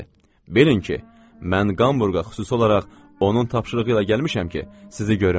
Bilin ki, mən Qamburqa xüsusi olaraq onun tapşırığı ilə gəlmişəm ki, sizi görüm.